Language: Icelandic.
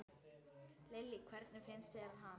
Lillý: Hvernig finnst þér hann?